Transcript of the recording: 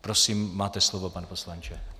Prosím, máte slovo, pane poslanče.